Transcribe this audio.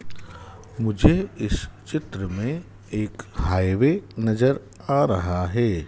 मुझे इस चित्र में एक हाइवे नजर आ रहा हैं।